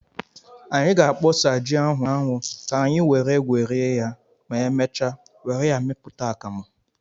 Anyị ga-akpọsa ji ahụ n'anwu ka anyi were gwerie ya ma emechaa were ya meputa akamu.